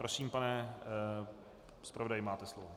Prosím, pane zpravodaji, máte slovo.